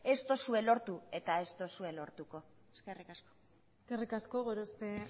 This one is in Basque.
ez duzue lortu eta ez duzue lortuko eskerrik asko eskerrik asko gorospe